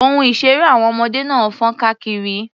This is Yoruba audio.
Ohun-ìṣeré àwọn ọmọdé náà fọ́nka kiri.